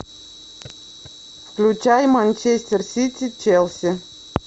включай манчестер сити челси